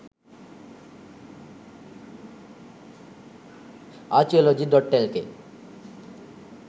archaeology.lk